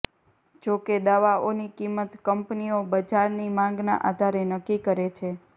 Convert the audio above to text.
જો કે દવાઓની કિંમત કંપનીઓ બજારની માંગના આધારે નક્કી કરે છે